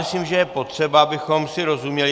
Myslím, že je potřeba, abychom si rozuměli.